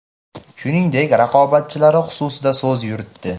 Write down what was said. shuningdek raqobatchilari xususida so‘z yuritdi.